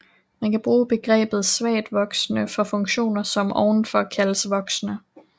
Man kan bruge begrebet svagt voksende for funktioner som ovenfor kaldes voksende